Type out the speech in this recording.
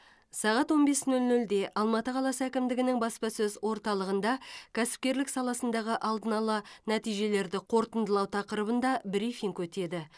сағат он бес нөл нөлде алматы қаласы әкімдігінің баспасөз орталығында кәсіпкерлік саласындағы алдын ала нәтижелерді қорытындылау тақырыбында брифинг өтеді